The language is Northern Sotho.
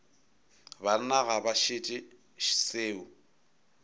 banna ga ba šetše seo